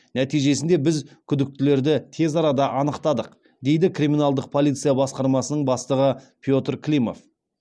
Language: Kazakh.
нәтижесінде біз күдіктілерді тез арада анықтадық дейді криминалдық полиция басқармасының бастығы петр климов